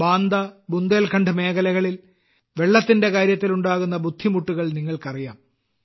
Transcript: ബാന്ദ ബുന്ദേൽഖണ്ഡ് മേഖലകളിൽ വെള്ളത്തിന്റെ കാര്യത്തിൽ ഉണ്ടാകുന്ന ബുദ്ധിമുട്ടുകൾ നിങ്ങൾക്കറിയാം